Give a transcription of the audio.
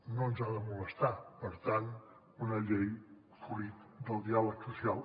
no ens ha de molestar per tant una llei fruit del diàleg social